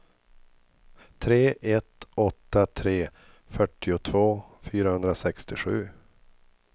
tre ett åtta tre fyrtiotvå fyrahundrasextiosju